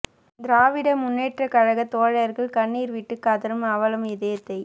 திராவிட முன்னேற்றக் கழகத் தோழர்கள் கண்ணீர் விட்டுக் கதறும் அவலம் இதயத்தை